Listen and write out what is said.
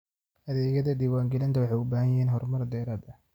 Adeegyada diiwaangelinta waxay u baahan yihiin horumar dheeraad ah.